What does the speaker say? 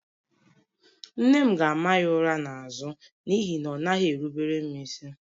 Nne m ga-ama ya ụra n'azụ n'ihi na ọ naghị erubere m isi